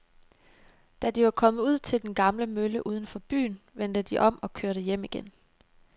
Da de var kommet ud til den gamle mølle uden for byen, vendte de om og kørte hjem igen.